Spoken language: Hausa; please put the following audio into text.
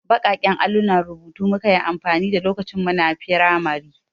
Baƙaƙen allunan rubutu muka yi amfani da lokacin muna firamari.